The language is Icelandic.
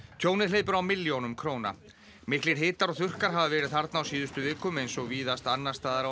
tjónið hleypur á milljónum króna miklir hitar og þurrkar hafa verið þarna á síðustu vikum eins og víðast annars staðar á